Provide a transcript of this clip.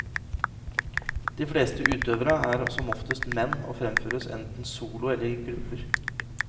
De fleste utøvere er som oftest menn og fremføres enten solo eller i grupper.